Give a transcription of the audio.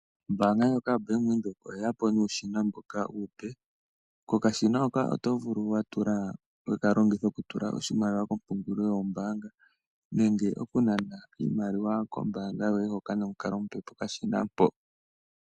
Ombaanga ndjoka yoBank Windhoek oye ya po nuushina mboka uupe. Kokashina hoka oto vulu wekalongitha oku tula oshimaliwa kompungulilo yombaanga nenge okunana iimaliwa koombaanga yoye hoka nomukalo goku kala nokashina mpo.